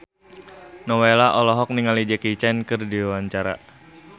Nowela olohok ningali Jackie Chan keur diwawancara